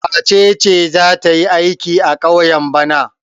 Wace ce za ta yi aiki a ƙauye bana?